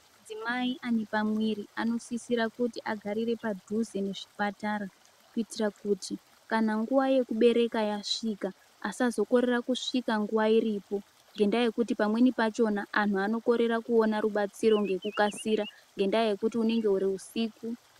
Madzimai ane pamwiri anosisira kuti agarire padhuze nezvipatara kuitira kuti kana nguwa yekubereka yasvika, asazokorera kusvika nguva iripo ngendaa yekuti pamweni pachona, anhu anokorera kuona rubatsiro ngekukasira ngendaa yekuti hunenge huri usiku.